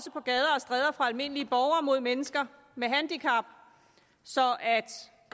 stræder fra almindelige borgere mod mennesker med handicap så